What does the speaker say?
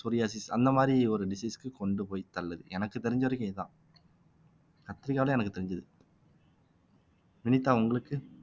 psoriasis அந்த மாதிரி ஒரு disease க்கு கொண்டு போய் தள்ளுது எனக்கு தெரிஞ்ச வரைக்கும் இதுதான் கத்திரிக்காவுல எனக்கு தெரிஞ்சது வினிதா உங்களுக்கு